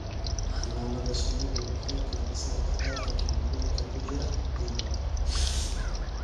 Xannaanada shinnidu waxay kordhisaa cadadka kiimikooyinka ku jira ciidda.